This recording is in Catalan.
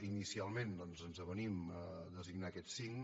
inicialment doncs ens avenim a designar aquests cinc